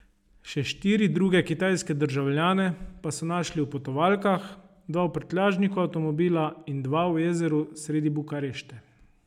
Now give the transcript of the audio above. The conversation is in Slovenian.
Še štiri druge kitajske državljane pa so našli v potovalkah, dva v prtljažniku avtomobila in dva v jezeru sredi Bukarešte.